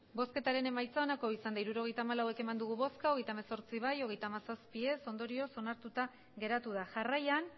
hirurogeita hamalau eman dugu bozka hogeita hemezortzi bai hogeita hamazazpi ez ondorioz onartuta geratu da jarraian